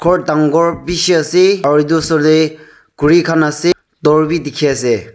ghor dangor bishi ase aru etu saile kuri khan ase dor bhi dikhi ase.